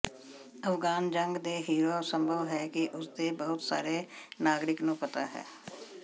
ਅਫਗਾਨ ਜੰਗ ਦੇ ਹੀਰੋ ਸੰਭਵ ਹੈ ਕਿ ਰੂਸ ਦੇ ਬਹੁਤ ਸਾਰੇ ਨਾਗਰਿਕ ਨੂੰ ਪਤਾ ਹੈ